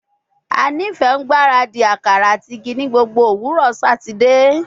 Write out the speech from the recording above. A nifẹ ngbaradi akara ati igi ni gbogbo owurọ Satidee